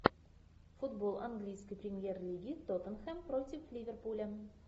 футбол английской премьер лиги тоттенхэм против ливерпуля